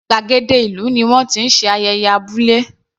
Gbàgéde ìlú ni wọ́n ti ń ṣe ayẹyẹ abúlé.